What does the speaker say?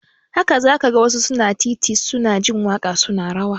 Haka za ka ga wasu a titi su na jin waƙa su na rawa